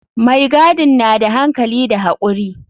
Mai gadin na da hankali da hakuri.